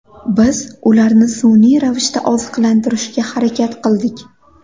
Biz ularni sun’iy ravishda oziqlantirishga harakat qildik.